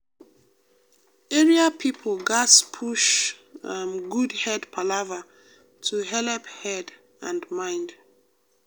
area people gatz push um good head palava to helep head and mind.